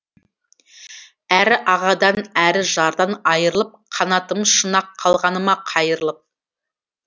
әрі ағадан әрі жардан айырылып қанатым шын ақ қалғаны ма қайырылып